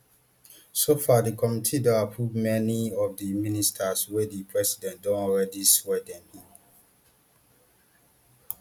so far di committee don approve many of di ministers wia di president don already swear dem in